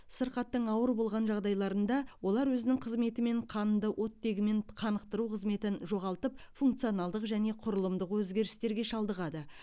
сырқаттың ауыр болған жағдайларында олар өзінің қызметі мен қанды оттегімен қанықтыру қызметін жоғалтып функционалдық және құрылымдық өзгерістерге шалдығады